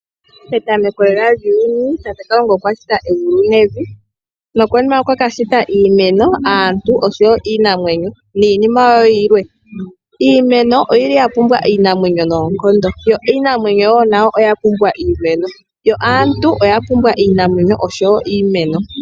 Petameko lela lyuuyuni tate Kalunga okwa shita egulu nevi nokonima okwa kashita iimeno, aantu oshowo iinamwenyo ninima yimwe. Iimeno oyili ya pumbwa iinamwenyo nonkondo yoniinamwenyo yo oya pumbwa iimeno yo aantu oya pumbwa iinamwenyo niimeno.